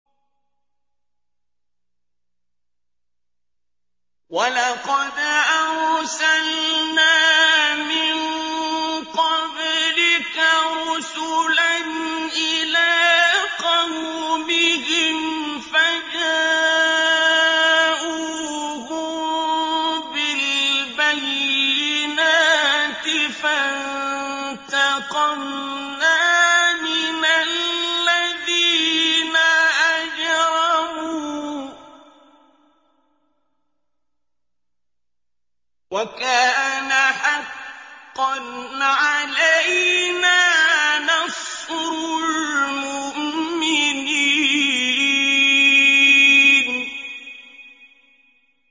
وَلَقَدْ أَرْسَلْنَا مِن قَبْلِكَ رُسُلًا إِلَىٰ قَوْمِهِمْ فَجَاءُوهُم بِالْبَيِّنَاتِ فَانتَقَمْنَا مِنَ الَّذِينَ أَجْرَمُوا ۖ وَكَانَ حَقًّا عَلَيْنَا نَصْرُ الْمُؤْمِنِينَ